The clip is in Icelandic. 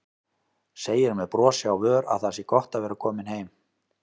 Segir með brosi á vör að það sé gott að vera komin heim.